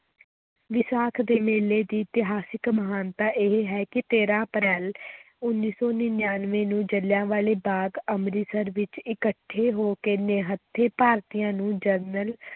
ਵਿਸਾਖ ਦੇ ਮੇਲੇ ਦੀ ਇਤਿਹਾਸਕ ਮਹਾਨਤਾ ਇਹ ਹੈ ਕਿ ਤੇਰਾਂ ਅਪ੍ਰੈਲ ਉੱਨੀ ਸੌ ਨੜ੍ਹਿਨਵੇਂ ਨੂੰ ਜਲਿਆਂਵਾਲੇ ਬਾਗ਼ ਅੰਮ੍ਰਿਤਸਰ ਵਿੱਚ ਇਕੱਠੇ ਹੋ ਕੇ ਨਿਹੱਥੇ ਭਾਰਤੀਆਂ ਨੂੰ ਜਨਰਲ